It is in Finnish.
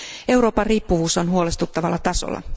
Euroopan riippuvuus on huolestuttavalla tasolla.